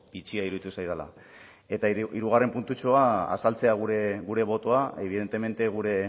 bitxia iruditu zaidala eta hirugarren puntutxoa azaltzea gure botoa ebidentemente gure